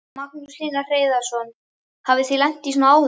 Magnús Hlynur Hreiðarsson: Hafið þið lent í svona áður?